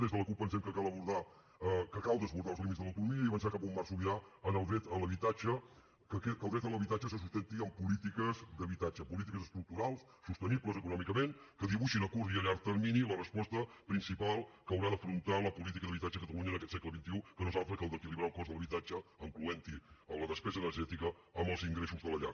des de la cup pensem que cal desbordar els límits de l’autonomia i avançar cap a un marc sobirà en el dret a l’habitatge que el dret a l’habitatge se sustenti en polítiques d’habitatge polítiques estructurals sostenibles econòmicament que dibuixin a curt i a llarg termini la resposta principal que haurà d’afrontar la política d’habitatge a catalunya en aquest segle xxi que no és altra que la d’equilibrar el cost de l’habitatge i incloure la despesa energètica en els ingressos de la llar